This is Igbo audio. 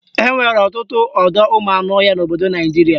Enwere ọtụtụ ọdọụmụanụọhịa n'obodo Naijiria